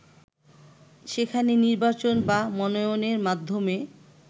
সেখানে নির্বাচন বা মনোনয়নের মাধ্যমে